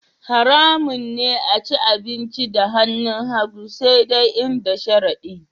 Haramun ne a ci abinci da hannun hagu sai dai in da sharadi